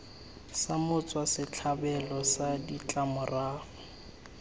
sa motswa setlhabelo sa ditlamorago